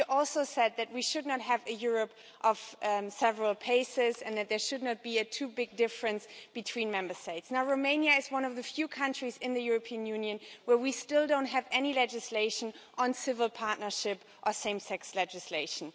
You also said that we should not have a Europe of several paces and that there should not be too big a difference between Member States. Romania is one of the few countries in the European Union where we still don't have any legislation on civil partnership or same sex legislation.